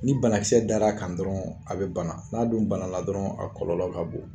Ni banakisɛ dar' a kan dɔrɔnw, a bɛ bana, n'a dun banana dɔrɔnw a kɔlɔlɔ ka bon.